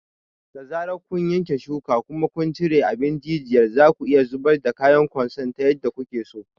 Da zarar kun yanke shuka kuma kun cire abin jijiyar, zaku iya zubar da kayan kwanson ta yadda kuke so.